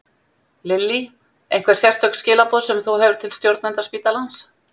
Lillý: Einhver sérstök skilaboð sem þú hefur til stjórnenda spítalans?